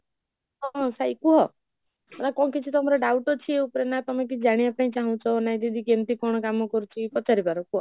ହଁ ସାଇ କୁହ, ଆଉ କଣ କିଛି ତମର doubt ଅଛି ୟା ଉପରେ ନା ତମେ କିଛି ଜାଣିବାପାଇଁ ଚାହୁଁଛ ନା କେମିତି କଣ କାମ କରୁଛି, ପଚାରି ପର କୁହ